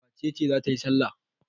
Wace ce za ta yi salla?